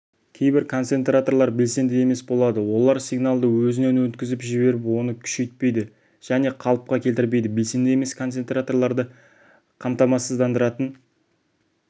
кейбір концентраторлар белсенді емес болады олар сигналды өзінен өткізіп жіберіп оны күшейтпейді және қалыпқа келтірмейді белсенді емес концентраторларды қаматамасыздандыратын